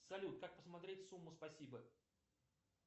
салют как посмотреть сумму спасибо